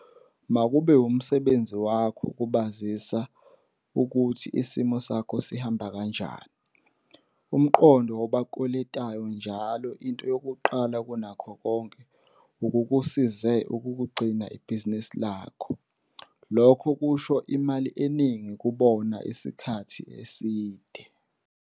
Makube wumsebenzi wakho ukubazisa ukuthi isimo sakho sihamba kanjani. Umqondo wobakweletwayo njalo into yokuqala kunakho konke ukukusize ukugcina ibhizinisi lakho - lokho kusho imali eningi kubona isikhathi eside.